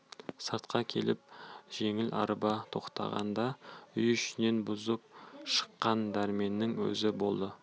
сыртқа келіп жеңіл арба тоқтағанда үй ішінен бұрын шыққан дәрменнің өзі болды